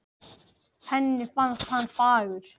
Henni fannst hann fagur